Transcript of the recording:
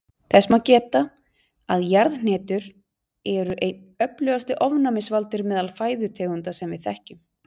Þess má geta að jarðhnetur eru einn öflugasti ofnæmisvaldur meðal fæðutegunda sem við þekkjum.